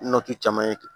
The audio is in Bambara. Nɔti caman ye